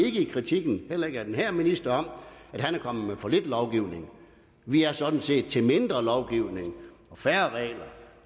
ikke i kritikken heller ikke af den her minister om at han er kommet med for lidt lovgivning vi er sådan set til mindre lovgivning og færre regler